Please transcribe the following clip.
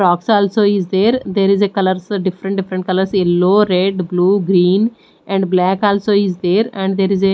rocks also is there there is a colours different different colours yellow red blue green and black also is there and there is a--